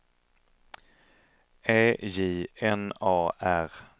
E J N A R